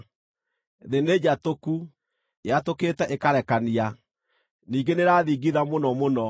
Thĩ nĩnjatũku, yatũkĩte ĩkarekania, ningĩ nĩĩrathingitha mũno mũno.